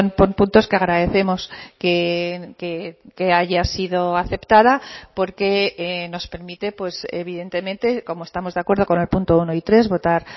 por puntos que agradecemos que haya sido aceptada porque nos permite evidentemente como estamos de acuerdo con el punto uno y tres votar